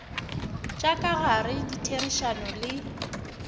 tša ka gare ditherišano le